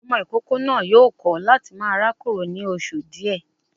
Ọmọ ìkókó náà yóò kọ láti máa rákòrò ní oṣù díẹ̀